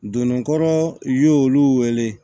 Donnikɔrɔ y'olu wele